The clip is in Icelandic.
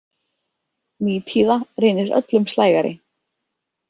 Nítíða reynist öllum slægari.